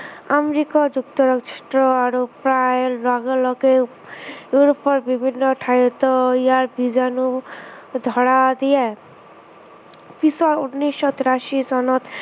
America যুক্তৰাষ্ট্ৰ আৰু প্ৰায় লগে লগে ইউৰোপৰ বিভিন্ন ঠাইতো ইয়াৰ বিজাণু ধৰা দিয়ে। পিছত উনৈচশ তিৰাশী চনত